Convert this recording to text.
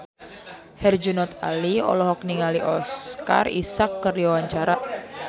Herjunot Ali olohok ningali Oscar Isaac keur diwawancara